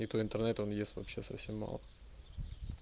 и то интернета он ест вообще совсем мало